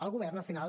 el govern al final